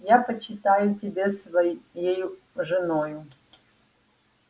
я почитаю тебя своею женою